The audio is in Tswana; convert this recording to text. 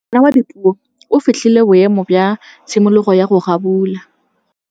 Ngwana wa Dipuo o fitlhile boêmô jwa tshimologô ya go abula.